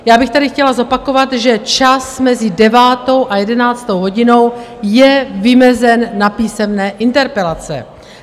Já bych tady chtěla zopakovat, že čas mezi 9. a 11. hodinou je vymezen na písemné interpelace.